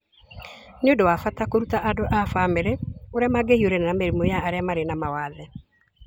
Nĩ ũndũ wa bata kũruta andũ a bamĩrĩ ũrĩa mangĩhiũrania na mĩrimũ ya arĩa marĩ na mawathe